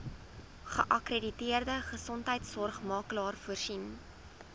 geakkrediteerde gesondheidsorgmakelaar voorsien